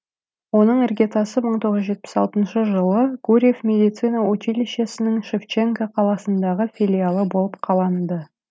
оның іргетасы мың тоғыз жүз жетпіс алтыншы жылы гурьев медицина училищесінің шевченко қаласындағы филиалы болып қаланды